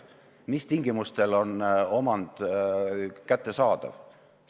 See, mis tingimustel on omand kättesaadav.